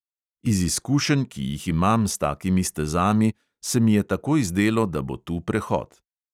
Iz izkušenj, ki jih imam s takimi stezami, se mi je takoj zdelo, da bo tu prehod.